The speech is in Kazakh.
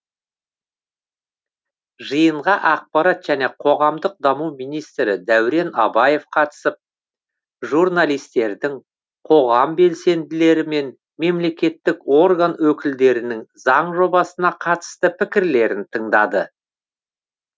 жиынға ақпарат және қоғамдық даму министрі дәурен абаев қатысып журналистердің қоғам белсенділері мен мемлекеттік орган өкілдерінің заң жобасына қатысты пікірлерін тыңдады